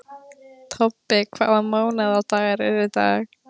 Tobbi, hvaða mánaðardagur er í dag?